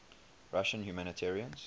russian humanitarians